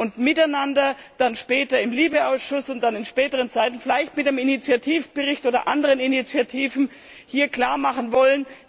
Später wollen wir dann im LIBE Ausschuss und dann noch später vielleicht mit einem Initiativbericht oder anderen Initiativen hier klarmachen,